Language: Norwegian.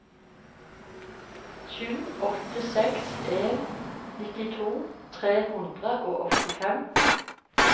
sju åtte seks en nittito tre hundre og åttifem